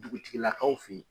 Dugutigilakaw fɛ yen.